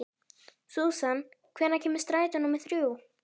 Susan, hvenær kemur strætó númer þrjú?